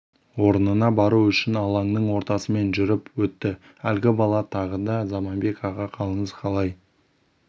орнына бару үшін алаңның ортасымен жүріп өтті әлгі бала тағы да заманбек аға қалыңыз қалай